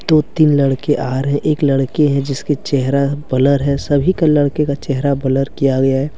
दो तीन लड़के आ रहे। एक लड़की है जिसके चेहरा बलर है। सभी का लड़के का चेहरा बलर किया हुआ है ।